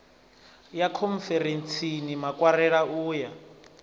ya khonferentsini makwarela u ya